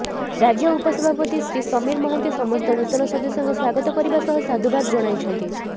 ରାଜ୍ୟ ଉପସଭାପତି ଶ୍ରୀ ସମୀର ମହାନ୍ତି ସମସ୍ତ ନୂତନ ସଦସ୍ୟଙ୍କୁ ସ୍ୱାଗତ କରିବା ସହ ସାଧୁବାଦ ଜଣାଇଛନ୍ତି